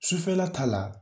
Sufɛla ta la